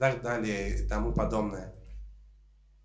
так далее и тому подобное